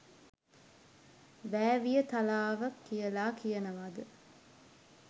වෑවියතලාව කියලා කියනවාද